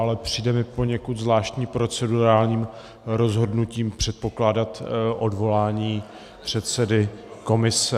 Ale přijde mi poněkud zvláštní procedurálním rozhodnutím předpokládat odvolání předsedy komise.